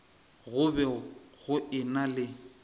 go be go ena le